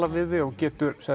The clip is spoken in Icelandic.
við þig og getur